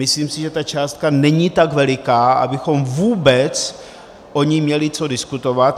Myslím si, že ta částka není tak veliká, abychom vůbec o ní měli co diskutovat.